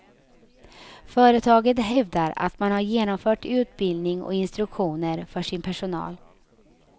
Företaget hävdar att man har genomfört utbildning och instruktioner för sin personal.